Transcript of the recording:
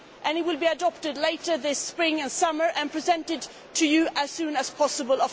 It will be adopted later this spring or summer and presented to you as soon as possible.